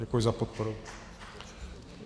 Děkuji za podporu.